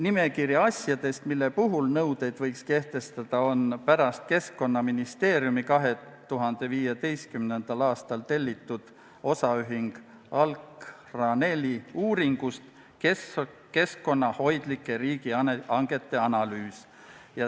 Nimekiri asjadest, mille puhul need nõuded võiks kehtestada, on pärit Keskkonnaministeeriumi 2015. aastal tellitud OÜ Alkranel uuringust "Keskkonnahoidlike riigihangete analüüs".